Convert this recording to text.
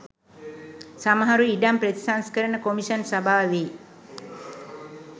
සමහරු ඉඩම් ප්‍රතිසංස්කරණ කොමිෂන් සභාවෙ